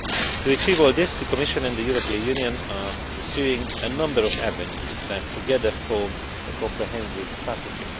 To achieve all this, the Commission and the European Union are pursuing a number of avenues that together form a comprehensive strategy.